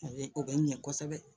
A bɛ o bɛ ɲɛ kosɛbɛ